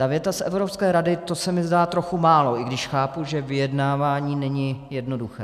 Ta věta z Evropské rady, to se mi zdá trochu málo, i když chápu, že vyjednávání není jednoduché.